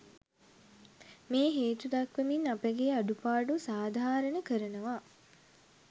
මේ හේතු දක්වමින් අපගේ අඩුපාඩු සාධාරණ කරනවා.